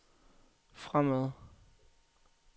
fremad